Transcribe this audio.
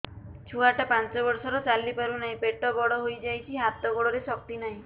ଛୁଆଟା ପାଞ୍ଚ ବର୍ଷର ଚାଲି ପାରୁ ନାହି ପେଟ ବଡ଼ ହୋଇ ଯାଇଛି ହାତ ଗୋଡ଼ରେ ଶକ୍ତି ନାହିଁ